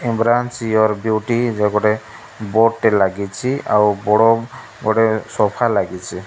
Embrace your beauty ଗୋଟେ board ଟେ ଲାଗିଛି ଆଉ ବଡ଼ ଗୋଟେ ସୋଫା ଲାଗିଛି।